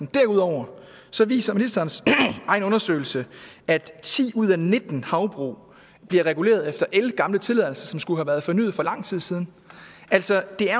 derudover viser ministerens egen undersøgelse at ti ud af nitten havbrug bliver reguleret efter ældgamle tilladelser som skulle have været fornyet for lang tid siden altså det er